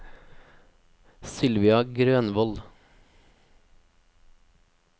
Sylvia Grønvold